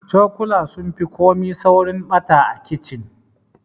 Cokula sun fi komai saurin ɓata a kicin.